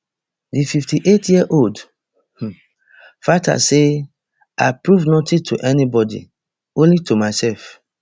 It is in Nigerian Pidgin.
di fifty-eight yearold um fighter say i prove nothing to anybody only to myself